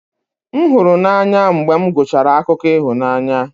M hụrụ n'anya mgbe m gụchara akụkọ ịhụnanya